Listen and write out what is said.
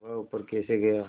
वह ऊपर कैसे गया